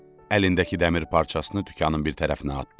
Əlindəki dəmir parçasını dükanın bir tərəfinə atdı.